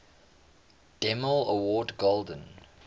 demille award golden